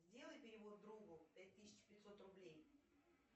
сделай перевод другу пять тысяч пятьсот рублей